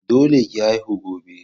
Dole ki haihu gobe.